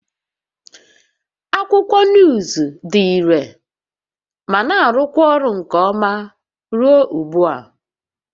Akwụkwọ nuuzu dị irè ma na-arụkwa ọrụ nke ọma ruo ugbu a